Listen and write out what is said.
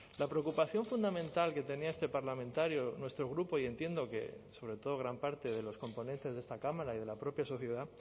la preocupación fundamental que tenía este parlamentario nuestro grupo y entiendo que sobre todo gran parte de los componentes de esta cámara y de la propia sociedad